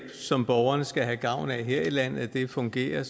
som borgerne skal have gavn af her landet fungerer